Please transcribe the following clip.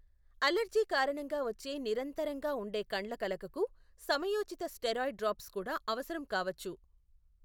Allergy కారణంగా వచ్చే నిరంతరంగా ఉండే కండ్లకలకకు సమయోచిత స్టెరాయిడ్ డ్రాప్స్ కూడా అవసరం కావచ్చు.